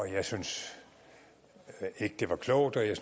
jeg syntes ikke det var klogt og jeg